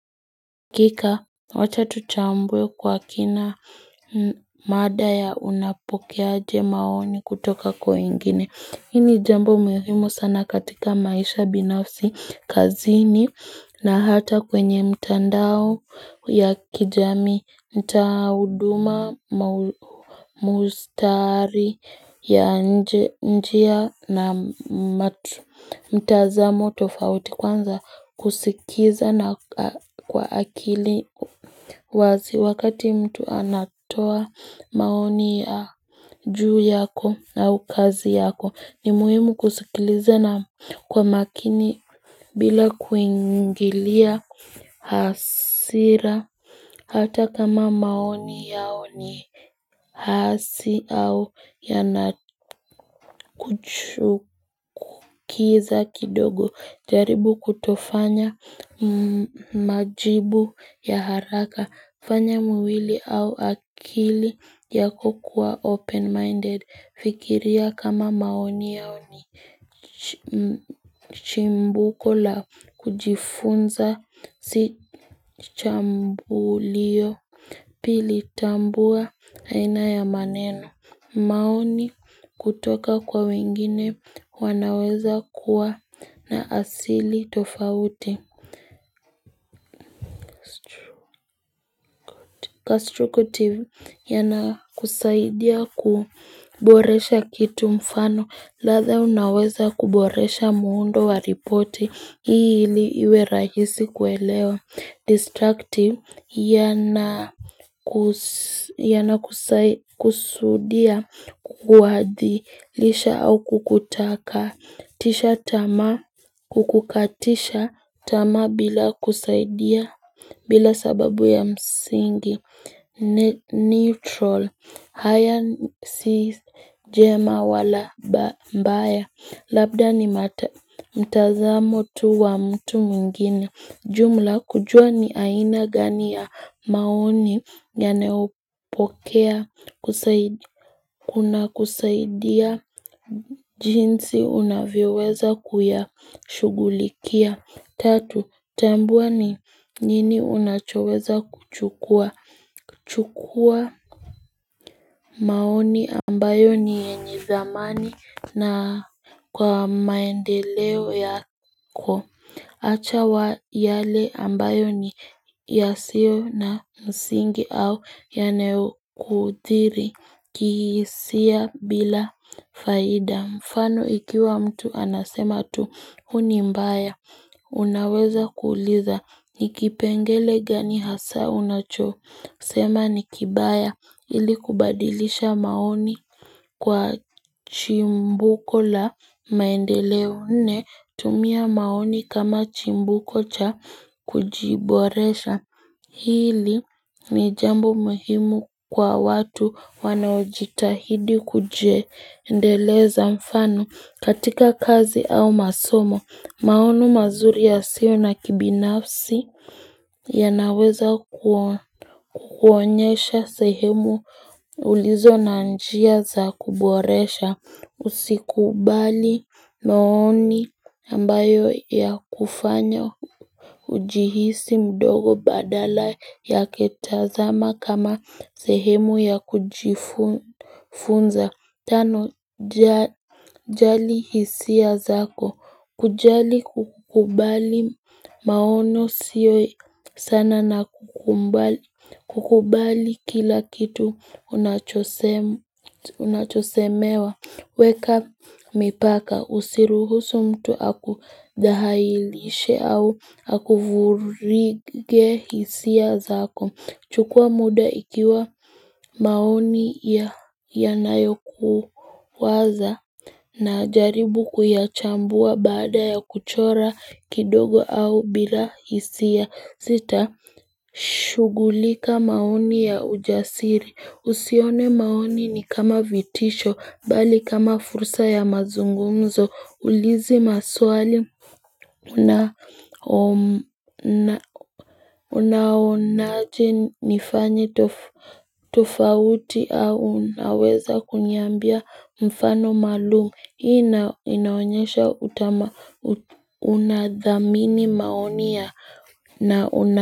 Hakika, wacha tuchambue kwa kina mada ya unapokeaje maoni kutoka kwa ingine. Hii ni jambo muhimu sana katika maisha binafsi kazini na hata kwenye mtandao ya kijamii, mtoa huduma, mstari ya nje na matu. Mtazamo tofauti kwanza kusikiza na kwa akili wazi wakati mtu anatoa maoni ya juu yako na ukazi yako ni muhimu kusikiliza na kwa makini bila kuingilia hasira hata kama maoni yao ni hasi au yanakuchukiza kidogo jaribu kutofanya majibu ya haraka kufanya mwili au akili yako kuwa open minded Fikiria kama maoni yao ni chimbuko la kujifunza si chambulio Pili tambua aina ya maneno maoni kutoka kwa wengine wanaweza kuwa na asili tofauti Constructive yanakusaidia kuboresha kitu mfano ladha unaweza kuboresha muundo wa ripoti hli iwe rahisi kuelewa Destructive, yanakusudia kuadhilisha au kukutakatisha tamaa, kukukatisha tamaa bila kusaidia bila sababu ya msingi, neutral, haya si jema wala mbaya, labda nii mtazamo tu wa mtu mingine. Jumla kujua ni aina gani ya maoni yanaupokea kuna kusaidia jinsi unavyoweza kuyashughulikia. Tatu, tambua ni nini unachoweza kuchukua. Chukua maoni ambayo ni yenye thamani na kwa maendeleo yako. Acha wa yale ambayo ni yasio na msingi au yanayokuthiri kihisia bila faida. Mfano ikiwa mtu anasema tu huu ni mbaya. Unaweza kuuliza ni kipengele gani hasa unachosema ni kibaya ili kubadilisha maoni. Kwa chimbuko la maendeleo nne tumia maoni kama chimbuko cha kujiboresha hili ni jambo muhimu kwa watu wanaojitahidi kujiendeleza mfano katika kazi au masomo. Maoni mazuri yasio na kibinafsi yanaweza kukuonyesha sehemu ulizo na njia za kuboresha usikubali maoni ambayo yakufanya ujihisi mdogo badala yake tazama kama sehemu ya kujifunza. Tano, jali hisia zako. Kujali kukubali maono siyo sana na kukubali kila kitu unachosemewa. Weka mipaka usiruhusu mtu akudhahailishe au akuvurige hisia zako chukua muda ikiwa maoni ya yanayokuwaza najaribu kuyachambua baada ya kuchora kidogo au bila hisia zita Shughulika maoni ya ujasiri, usione maoni ni kama vitisho, bali kama fursa ya mazungumzo, ulizi maswali Unaonaje nifanye tofauti au unaweza kuniambia mfano maalumu, hii inaonyesha unathamini maoni ya na una.